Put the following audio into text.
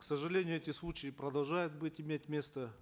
к сожалению эти случаи продолжают быть иметь место